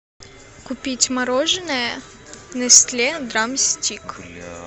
купить мороженое нестле драмстик